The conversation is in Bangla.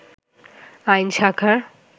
আইন শাখার